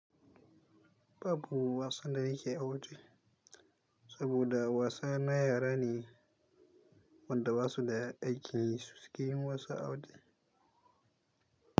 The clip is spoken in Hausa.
Babu wasan da nake waje, saboda wasa na yara ne wanda ba su da aikin yi su suke yin wasa a waje.